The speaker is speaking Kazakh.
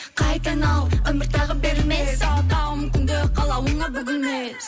қайта айналып өмір тағы берілмес тағы тағы мүмкіндік қалауыңа бүгілмес